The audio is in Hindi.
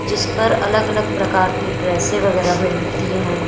जिस पर अलग अलग प्रकार की ड्रेसे वगैरा मिलती है।